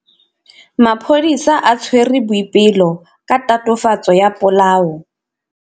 Maphodisa a tshwere Boipelo ka tatofatsô ya polaô.